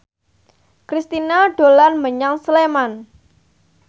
Kristina dolan menyang Sleman